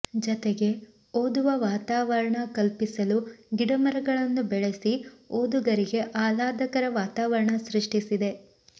ಜತೆಗೆ ಓದುವ ವಾತಾವರಣ ಕಲ್ಪಿಸಲು ಗಿಡ ಮರಗಳನ್ನು ಬೆಳೆಸಿ ಓದುಗರಿಗೆ ಆಹ್ಲಾದಕರ ವಾತಾವರಣ ಸೃಷ್ಟಿಸಿದೆ